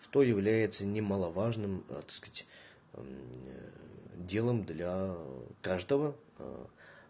что является немаловажным так сказать делом для каждого